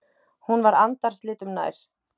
Hún var andarslitrum nær.